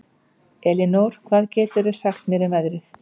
Elinór, hvað geturðu sagt mér um veðrið?